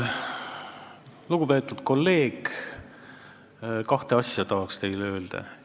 Lugupeetud kolleeg, tahan teile kahte asja öelda.